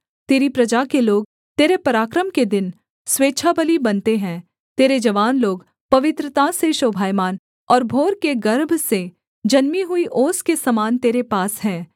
तेरी प्रजा के लोग तेरे पराक्रम के दिन स्वेच्छाबलि बनते हैं तेरे जवान लोग पवित्रता से शोभायमान और भोर के गर्भ से जन्मी हुई ओस के समान तेरे पास हैं